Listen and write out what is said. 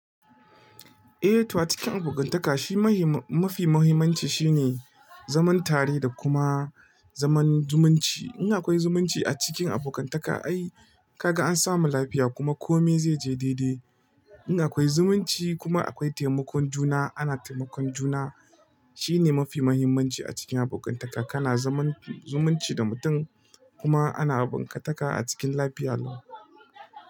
Eh, to a cikin abokantaka shi mafi mahimmanci shine zaman tare da kuma zaman zumunci. In akwai zumunci a cikin abokantaka ai kaga an samu lafiya kuma komai zai je daidai. In akwai zumunci kuma akwai taimakon juna, ana taimakon juna shine mafi mahimmanci a cikin abokantakan. Kana zumunci da mutum kuma ana abokantaka a cikin lafiya lau.